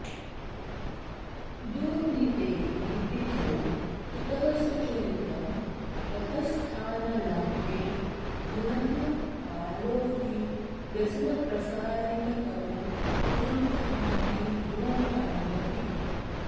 दुर्नीते हि विधौ कुतः सुचरितं कः स्थानलाभे गुणः कालो हि व्यसनप्रसारितकरो गृह्णाति दूरादपि